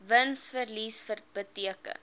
wins verlies bereken